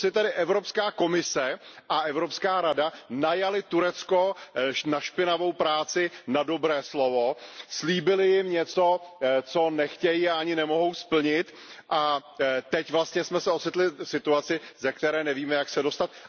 To si tedy Evropská komise a Evropská rada najaly Turecko na špinavou práci na dobré slovo, slíbily jim něco, co nechtějí a ani nemohou splnit, a teď jsme se vlastně ocitli v situaci, ze které nevíme, jak se dostat?